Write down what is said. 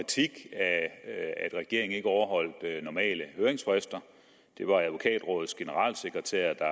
at af at regeringen ikke overholdt normale høringsfrister det var advokatrådets generalsekretær der